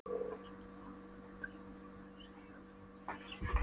Þessari málaleitun er bæjarstjórnin ekki enn farin að svara.